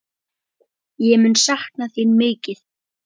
Ég mun sakna þín mikið.